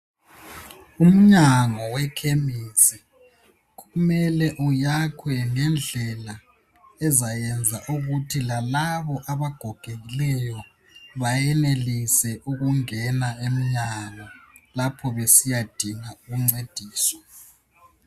Umnyango wekhemisi kumele uyakhwe ngendlela ezayenza ukuthi lalabo abagogekileyo bayenelise ukungena emnyango lapho besiyadinga ukuncediswa.